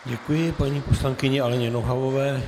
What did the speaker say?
Děkuji paní poslankyni Aleně Nohavové.